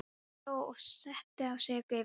Hló og setti á sig geiflur.